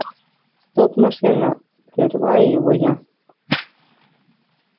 стоп машина прерываю его я